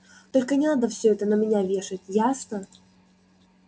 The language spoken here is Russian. только не надо все это на меня вешать ясно